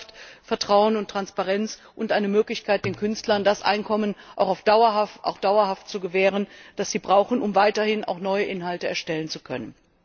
Und das schafft Vertrauen und Transparenz und eine Möglichkeit, den Künstlern das Einkommen auch dauerhaft zu gewähren, das sie brauchen, um weiterhin neue Inhalte erstellen zu können.